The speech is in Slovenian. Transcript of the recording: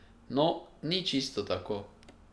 No, ni čisto tako.